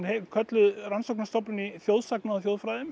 kölluð Rannsóknarstofnun í þjóðsagna og